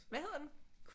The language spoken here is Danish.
Hvad hedder den